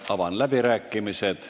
Avan läbirääkimised.